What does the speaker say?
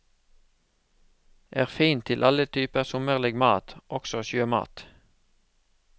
Er fin til alle typer sommerlig mat, også sjømat.